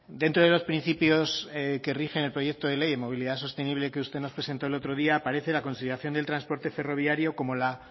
dentro de los principios que rigen el proyecto de ley de movilidad sostenible que usted nos presentó el otro día aparece la conciliación de transporte ferroviario como la